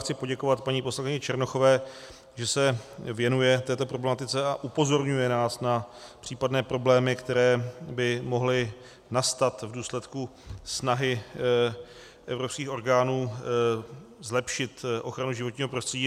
Chci poděkovat paní poslankyni Černochové, že se věnuje této problematice a upozorňuje nás na případné problémy, které by mohly nastat v důsledku snahy evropských orgánů zlepšit ochranu životního prostředí.